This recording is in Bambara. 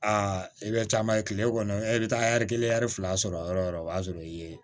Aa i bɛ caman ye kile kɔnɔ e bɛ taa ɛri kelen fila sɔrɔ yɔrɔ o yɔrɔ o y'a sɔrɔ i ye